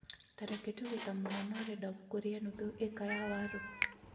Tareke tuge ta mũhano ũrenda gũkũria nuthu ĩka ya waru